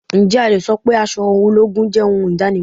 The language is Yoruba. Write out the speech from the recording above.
Ǹjẹ́ a le so pé aṣọ ológun jẹ́ ohun idanimọn?